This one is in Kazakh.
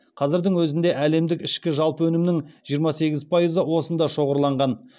қазірдің өзінде әлемдік ішкі жалпы өнімнің жиырма сегіз пайызы осында шоғырланған